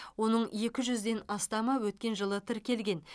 оның екі жүзден астамы өткен жылы тіркелген